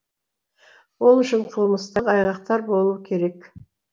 ол үшін қылмыстық айғақтар болуы керек